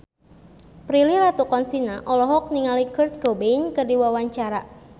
Prilly Latuconsina olohok ningali Kurt Cobain keur diwawancara